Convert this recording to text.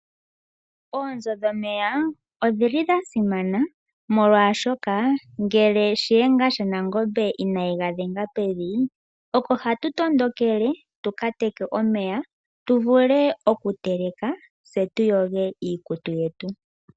Oonzo dhomeya odhili dhasimana molwashoka ngeke shiyenga shaNangombe inayi gadhenga pevi, oko hatu tondokele tuka teke omeya tuvule okuteleka tse tuyoge iikutu yetu.